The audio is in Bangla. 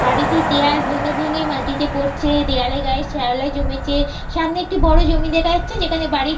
বাড়িটির দেওয়াল ভেঙে ভেঙে মাটিতে পড়ছে। দেওয়াল এর গায়ে শ্যাওলা জমেছে সামনে একটি বড় জমি দেখা যাচ্ছে যেখানে বাড়ি --